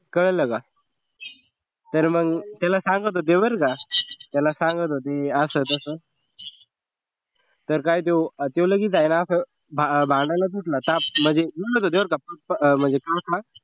कळलं का तर मग त्याला हे सांगत होते बर का त्याला सांगत होते असं तस तर काय तो त्यो लगेच आहें ना असं भांडायलाच उठला म्हणजे full बर का म्हणजे